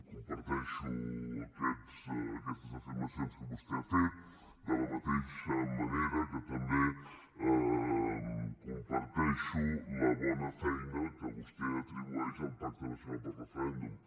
comparteixo aquestes afirmacions que vostè ha fet de la mateixa manera que també comparteixo la bona feina que vostè atribueix al pacte nacional pel referèndum